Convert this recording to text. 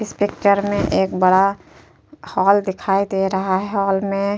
इस पिक्चर में एक बड़ा हॉल दिखाई दे रहा है और मैं --